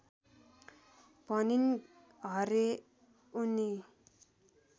भनिन् हरे उनी